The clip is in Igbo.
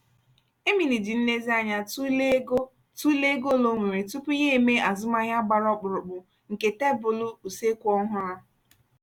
emily ji nlezianya tụlee ego tụlee ego ole o nwere tupu ya e mee azụmaahịa gbara ọkpụrụkpụ nke tebụl (okpokoro) useekwu ọhụrụ.